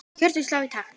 Hjörtun slá í takt.